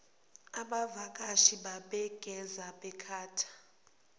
abavakashi bangaze bakhethe